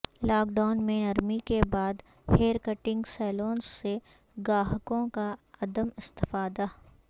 lock down میں نرمی کے بعد ہیر کٹنگ سیلونس سے گاہکوں کا عدم استفادہ